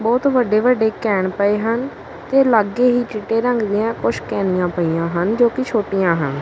ਬਹੁਤ ਵੱਡੇ ਵੱਡੇ ਕੈਨ ਪਏ ਹਨ ਤੇ ਲਾਗੇ ਹੀ ਚਿੱਟੇ ਰੰਗ ਦੀਆਂ ਕੁਝ ਕੈਨੀਆ ਪਈਆਂ ਹਨ ਜੋ ਕਿ ਛੋਟੀਆਂ ਹਨ।